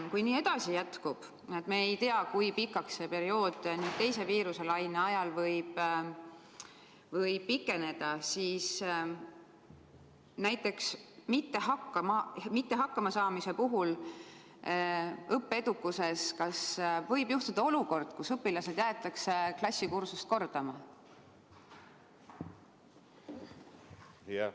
Kui nii edasi läheb, et me ei tea, kui pikaks see periood nüüd teise viiruselaine ajal võib pikeneda, siis kas õppimisega mitte hakkama saamise puhul võib juhtuda, et õpilased jäetakse klassikursust kordama?